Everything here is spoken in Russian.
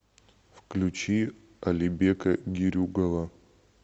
включи алибека герюгова